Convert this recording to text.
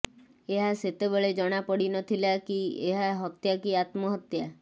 ଏହା ସେତେବେଳେ ଜଣାପଡିନଥିଲା କି ଏହା ହତ୍ୟା କି ଆତ୍ମହତ୍ୟା